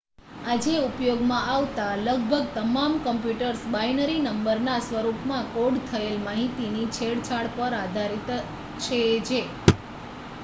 આજે ઉપયોગમાં આવતા લગભગ તમામ કમ્પ્યુટર્સ બાઈનરી નંબરના સ્વરૂપમાં કોડ થયેલ માહિતીની છેડછાડ પર આધારિત છે જે